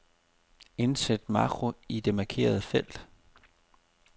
Indsæt makro i det markerede felt.